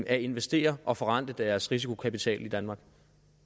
at investere og forrente deres risikokapital i danmark